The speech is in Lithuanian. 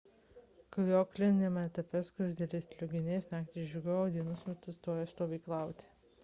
klajokliniame etape skruzdėlės legionierės naktį žygiuoja o dienos metu stoja stovyklauti